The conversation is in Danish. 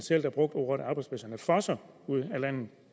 selv der brugte ordene at arbejdspladserne fosser ud af landet